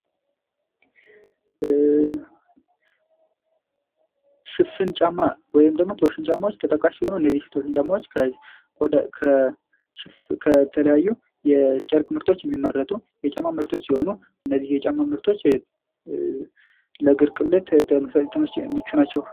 ሽፍን ጫማ ወይም ደግሞ ቶርሽን ጫማዎች ተጠቃሽ ሲሆኑ እነዚህ ቶርሽን ጫማዎች ከተለያዩ የጨርቅ ምርቶች የሚመረቱ የጫማ ምርቶች ሲሆኑ እነዚህ የጫማ ምርቶች ለእግር ቅለት ምቹ ናቸው።